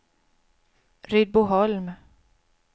Rydboholm